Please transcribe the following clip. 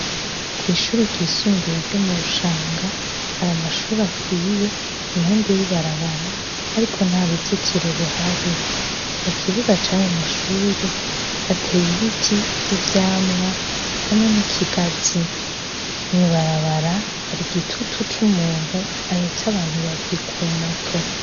Kwishure ryisumbuye ryo mu Rushanga hari amashure akwiye impande yibarabara ariko nta ruzitiro ruhari. Mukibuga cayo amashure hateye ibiti vy'ivyamwa hamwe nikigazi. Mwibarabara hari igitutu umuntu ahetse abantu babiri kumoto.